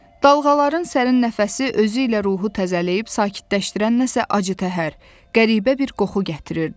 Dalğaların sərin nəfəsi özü ilə ruhu təzələyib sakitləşdirən nəsə acıtəhər, qəribə bir qoxu gətirirdi.